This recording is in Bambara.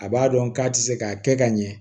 A b'a dɔn k'a tɛ se ka kɛ ka ɲɛ